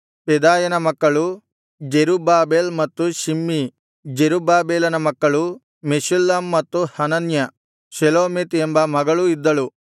ಪೆದಾಯನ ಮಕ್ಕಳು ಜೆರುಬ್ಬಾಬೆಲ್ ಮತ್ತು ಶಿಮ್ಮೀ ಜೆರುಬ್ಬಾಬೆಲನ ಮಕ್ಕಳು ಮೆಷುಲ್ಲಾಮ್ ಮತ್ತು ಹನನ್ಯ ಶೆಲೋಮೀತ್ ಎಂಬ ಮಗಳೂ ಇದ್ದಳು